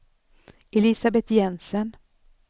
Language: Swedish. Elisabeth Jensen